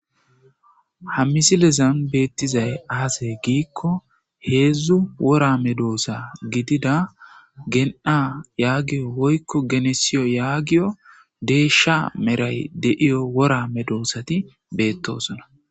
ha misilezan beettizay azey giikko heedzdzu wora me doosa gidida gen7a yaagiyo woykko genesiyo yaagiyo deesha meray deiyo wora me doossati beettosona